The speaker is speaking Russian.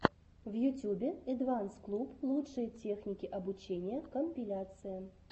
в ютюбе эдванс клуб лучшие техники обучения компиляция